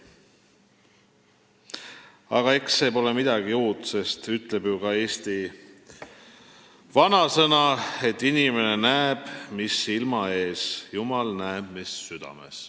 Aga selles pole midagi uut, sest ütleb ju ka eesti vanasõna, et inimene näeb, mis silma ees, jumal näeb, mis südames.